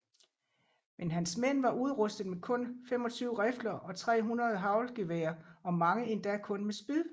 Men hans mænd var udrustet med kun 25 rifler og 300 haglgeværer og mange endda kun med spyd